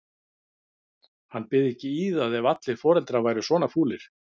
Hann byði ekki í það ef allir foreldrar væru svona fúlir.